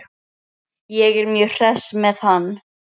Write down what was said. Ég er mjög hress með hann.